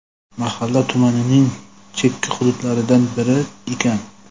Mahalla tumanning chekka hududlaridan biri ekan.